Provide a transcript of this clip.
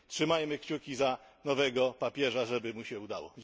Trzymajmy kciuki za nowego papieża, żeby mu się udało.